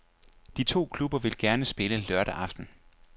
De to klubber vil gerne spille lørdag aften.